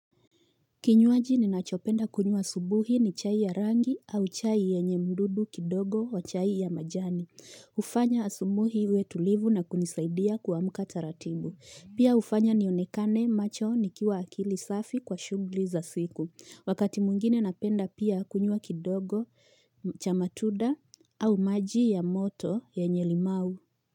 Kinywaji ninachopenda kunywa asubuhi ni chai ya rangi au chai yenye mdudu kidogo wa chai ya majani. Hufanya asubuhi uwe tulivu na kunisaidia kuamka taratibu. Pia hufanya nionekane macho nikiwa akili safi kwa shughli za siku. Wakati mwingine napenda pia kunywa kidogo cha matunda au maji ya moto yenye limau.